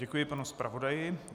Děkuji panu zpravodaji.